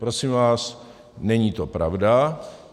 Prosím vás, není to pravda.